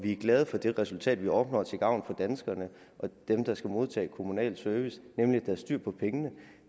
er glade for det resultat vi opnår til gavn for danskerne og dem der skal modtage kommunal service nemlig at der er styr på pengene